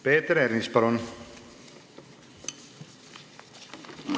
Peeter Ernits, palun!